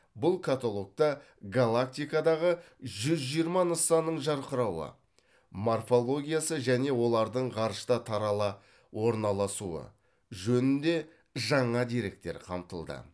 бұл каталогта галактикадағы жүз жиырма нысанның жарқырауы морфологиясы және олардың ғарышта тарала орналасуы жөнінде жаңа деректер қамтылды